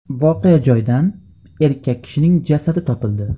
Voqea joyidan erkak kishining jasadi topildi .